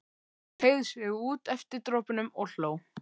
Teygði sig út eftir dropunum og hló.